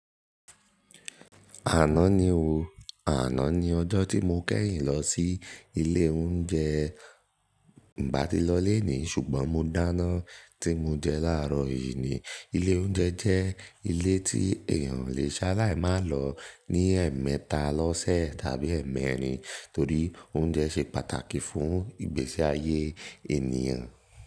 Àná ni o. Àná ni ọjọ́ tí mo kẹ́yìn lọ sí ilé oúnjẹ. Mi ò bá ti lọ léèní ṣùgbọ́n mo dáná tí mo jẹ láàárọ̀ yìí ni. Ilé oúnjẹ jẹ́ ilé tí èèyàn o lè ṣaláì máa lọ ní ẹ̀ẹ̀mẹta lọ́sẹ̀ tàbí ẹ̀ẹ̀mẹrin torí oúnjẹ ṣe pàtàkì fún ìgbésí ayé ènìyàn.